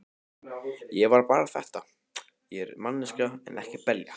Það var bara þetta: Ég er manneskja en ekki belja.